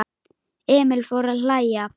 Emil fór að hlæja.